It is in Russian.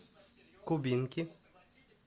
кубинки